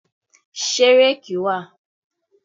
Ṣé réèkì wà?